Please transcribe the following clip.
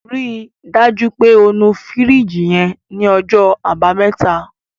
Ri dájú pé o nu fìríjìì yẹn ní ọjọ́ àbámẹ́ta.